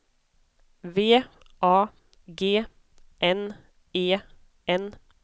V A G N E N